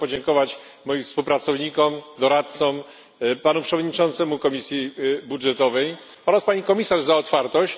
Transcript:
Chciałbym podziękować moim współpracownikom, doradcom, panu przewodniczącemu Komisji Budżetowej oraz pani komisarz za otwartość.